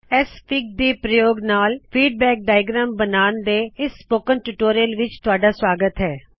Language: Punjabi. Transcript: ਐਕਸਐਫਆਈਜੀ ਦੇ ਪ੍ਰਯੋਗ ਨਾਲ ਫੀਡਬੈਕ ਡਾਇਅਗ੍ਰੈਮ ਬਣਾਉਨ ਦੇ ਇਸ ਸਪੋਕਨ ਟਿਊਟੋਰੀਅਲ ਵਿਚ ਤੁਹਾਡਾ ਸਵਾਗਤ ਹੈ